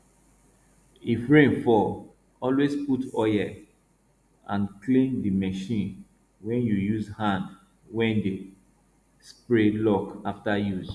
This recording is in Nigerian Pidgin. if rain fall always put oil and clean the machine wey you use hand wey dey spray lock up after use